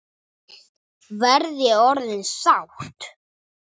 Verð ég orðin sátt?